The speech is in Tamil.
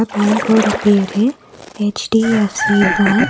பேங்க் ஓட பேரு எச்_டி_எஃப்_சி பேங்க் .